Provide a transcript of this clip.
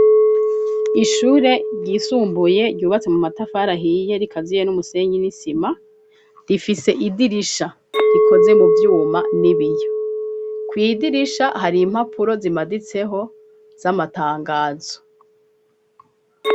Ishure ryisumbuye ryubatse mu matafarahiye rikaziye n'umusenyi n'isima, rifise idirisha rikoze mu vyuma n'ibiyo, kw'idirisha hari impapuro zimaditseho z'amatangazo.